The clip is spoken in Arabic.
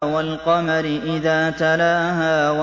وَالْقَمَرِ إِذَا تَلَاهَا